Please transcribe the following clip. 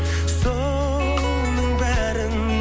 соның бәрін